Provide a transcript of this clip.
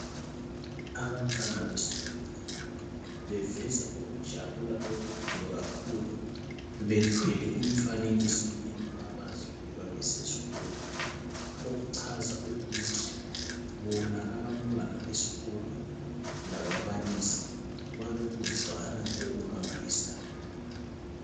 Abantwana besikolo beveza ukujabula okukhulu kakhulu bethwele imifanekiso yento abazidweba besesikolo okuchaza ukuthi bona abantwana besikolo lababalisi balokuzwana okumangalisayo.